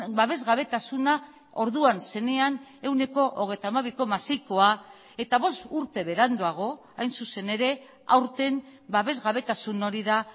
babesgabetasuna orduan zenean ehuneko hogeita hamabi koma seikoa eta bost urte beranduago hain zuzen ere aurten babesgabetasun hori da